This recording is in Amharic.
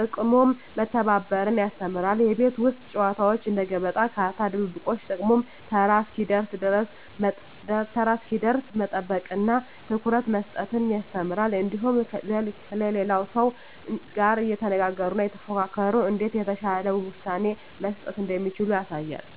ጥቅሙም መተባበርን ያስተምራሉ። የቤት ውስጥ ጨዋታዎች እንደ ገበጣ፣ ካርታ፣ ድብብቆሽ… ጥቅሙም ተራ እስኪደርስ መጠበቅንና ትኩረት መስጠትን ያስተምራሉ። እንዲሁም ከሌላው ሰው ጋር እየተነጋገሩና እየተፎካከሩ እንዴት የተሻለ ውሳኔ መስጠት እንደሚቻል ያሳያሉ።